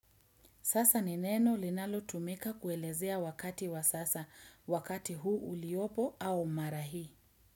Sasa ni neno linalo tumika kuelezea wakati wa sasa, wakati huu uliopo au mara hii.